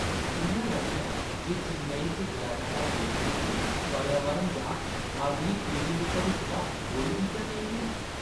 इ'यां लगदा ऐ जे चेन्नई च जैदातर बिल्डरें गी पर्यावरण जां अगली पीढ़ियें दे भविक्खै दा कोई फिकर नेईं ऐ।